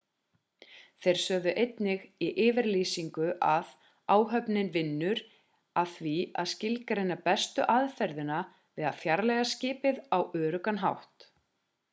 þeir sögðu einnig í yfirlýsingu að áhöfnin vinnur að því að skilgreina bestu aðferðina við að fjarlægja skipið á öruggan hátt